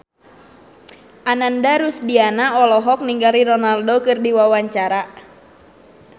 Ananda Rusdiana olohok ningali Ronaldo keur diwawancara